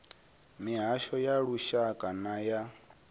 mihasho ya lushaka na ya